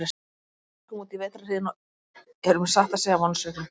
Við Lars örkum útí vetrarhríðina og erum satt að segja vonsviknir.